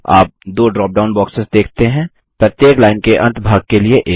आप दो drop down boxes देखते हैं प्रत्येक लाइन के अंतभाग के लिए एक